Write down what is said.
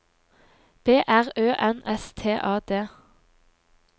B R Ø N S T A D